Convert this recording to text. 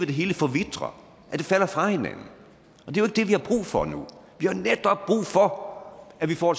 det hele forvitrer at det falder fra hinanden og for nu vi har netop brug for at vi får